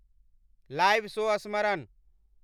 live show स्मरण